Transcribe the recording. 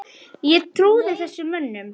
Ég trúði þessum mönnum.